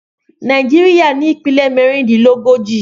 Naijiria ni ipinlẹ mẹrindinlógóji